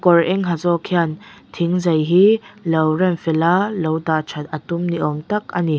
kawr eng ha zawk hian thingzai hi lo rem fel a lo dah that a tum ni awm tak a ni.